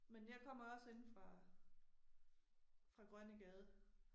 Men jeg kommer også inde fra fra Grønnegade